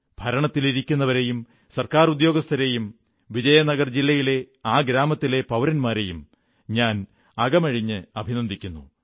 ഭരണത്തിലിരിക്കുന്നവരെയും government ഉദ്യോഗസ്ഥരെയും വിജയനഗർ ജില്ലയിലെ ആ ഗ്രാമത്തിലെ പൌരന്മാരെയും ഞാൻ അകമഴിഞ്ഞ് അഭിനന്ദിക്കുന്നു